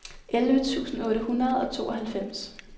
elleve tusind otte hundrede og tooghalvfems